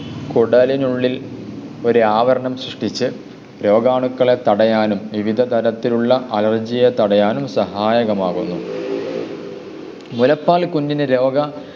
കുടലിനുള്ളിൽ ഒരു ആവരണം സൃഷ്ടിച്ചു രോഗാണുക്കളെ തടയാനും വിവിധ തരത്തിലുള്ള അലർജിയെ തടയാനും സഹായകമാകുന്നു. മുലപ്പാൽ കുഞ്ഞിനെ രോഗ